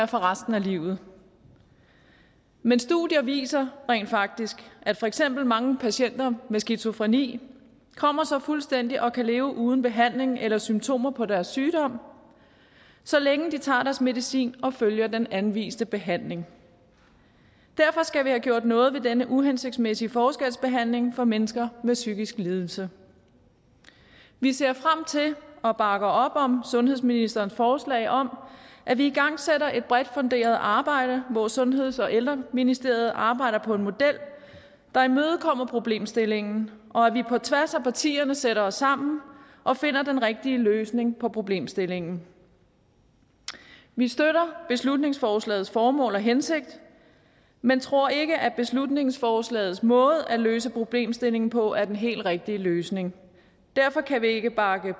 for resten af livet men studier viser rent faktisk at for eksempel mange patienter med skizofreni kommer sig fuldstændig og kan leve uden behandling eller symptomer på deres sygdom så længe de tager deres medicin og følger den anviste behandling derfor skal vi have gjort noget ved den uhensigtsmæssige forskelsbehandling af mennesker med psykisk lidelse vi ser frem til og bakker op om sundhedsministerens forslag om at vi igangsætter et bredt funderet arbejde hvor sundheds og ældreministeriet arbejder på en model der imødekommer problemstillingen og at vi på tværs af partierne sætter os sammen og finder den rigtige løsning på problemstillingen vi støtter beslutningsforslagets formål og hensigt men tror ikke at beslutningsforslagets måde at løse problemstillingen på er den helt rigtige løsning derfor kan vi ikke bakke